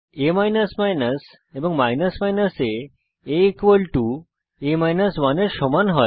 a এবং আ a a 1 এর সমান হয়